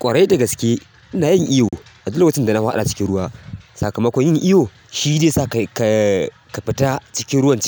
Ƙwarai dagaske ina yin iyo a duk lokacin da na hwaɗa cikin ruwa. Sakamakon yin iyo shi zai sa kai ka ka fita cikin ruwa